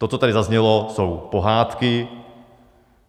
To, co tady zaznělo, jsou pohádky.